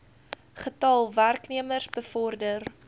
getal werknemers bevorder